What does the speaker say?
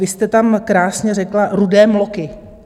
Vy jste tam krásně řekla: rudé mloky.